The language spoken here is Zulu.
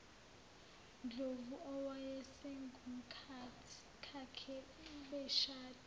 ndlovu owayesengumkakhe beshade